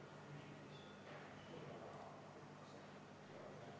Aitäh, peaminister Jüri Ratas!